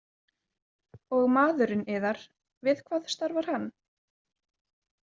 Og maðurinn yðar, við hvað starfar hann?